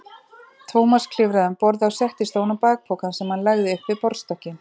Thomas klifraði um borð og settist ofan á bakpokann sem hann lagði upp við borðstokkinn.